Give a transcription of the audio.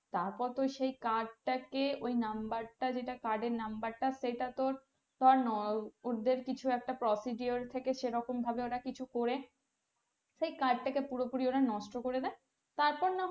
তারপর তো সেই card টাকে ওই number টা যেটা card এর number টা সেটা তোর ধর ওদের কিছু একটা procedure থেকে সেরকম ভাবে ওরা কিছু করে সেই কাজটাকে পুরোপুরি ওরা নষ্ট করে দেয় তারপর না,